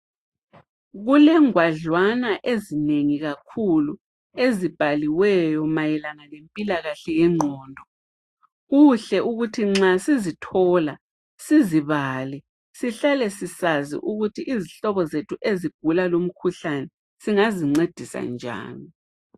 Kule ngwadlwana ezinengi kakhulu ezibhaliweyo mayelana ngempilakahle yengqondo, kuhle ukuthi nxa sizithola sizibale sihlale sisazi ukuthi izihlobo zethu ezigula lumkhuhlane singazincedisa njani.